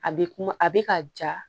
A bɛ kuma a bɛ ka ja